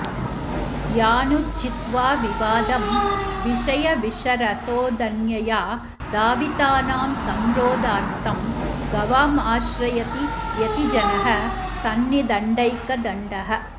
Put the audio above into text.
यानुज्झित्वा विवादं विषयविषरसोदन्यया धावितानां संरोधार्थं गवामाश्रयति यतिजनः सत्रिदण्डैकदण्डः